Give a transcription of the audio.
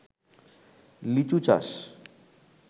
লিচু চাষ